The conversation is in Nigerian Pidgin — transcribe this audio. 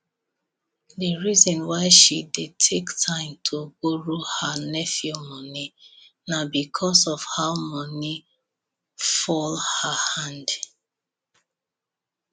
the reason why she dey take time to borrow her nephew money na because of how money fall her hand